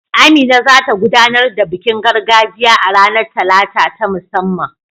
Amina za ta gudanar da bikin gargajiya a ranar Talata ta musamman.